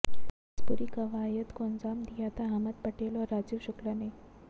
इस पूरी कवायद को अंजाम दिया था अहमद पटेल और राजीव शुक्ला ने